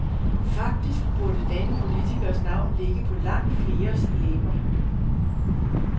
Faktisk burde denne politikers navn ligge på langt fleres læber.